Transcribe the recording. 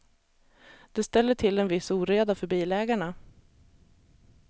Det ställer till en viss oreda för bilägarna.